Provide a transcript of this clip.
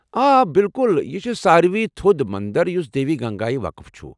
آ، بِلكٗل ، یہِ چھ ساروٕے تھوٚد مندر یُس دیوی گنگایہ وقف چھٗ ۔